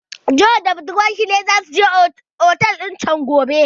John da budurwarsa na so su je su ci juna a otel din chan gobe